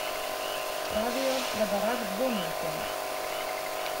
Pravijo, da Barak dvomi o tem.